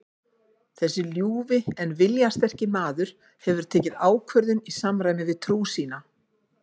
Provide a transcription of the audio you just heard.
Þessi ljúfi en viljasterki maður hefur tekið ákvörðun í samræmi við trú sína.